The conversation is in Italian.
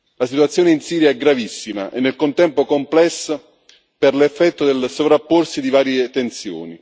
La situazione in Siria è gravissima e nel contempo complessa per l'effetto del sovrapporsi di varie tensioni.